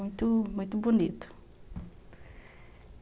muito, muito, bonito.